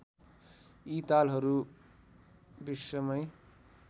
यी तालहरू विश्वमै